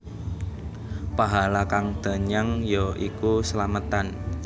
Pahala kang danyang ya iku slametan